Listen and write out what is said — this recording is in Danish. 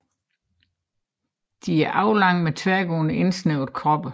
De er aflange med tværgående indsnævrede kroppe